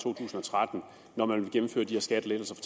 to tusind og tretten når man vil gennemføre de her skattelettelser